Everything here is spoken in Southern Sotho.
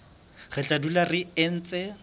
re tla dula re ntse